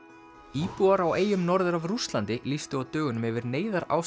íbúar á eyjum norður af Rússlandi lýstu á dögunum yfir neyðarástandi